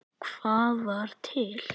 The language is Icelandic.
Hvað var til?